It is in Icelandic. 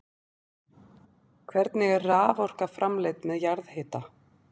Hvernig er raforka framleidd með jarðhita?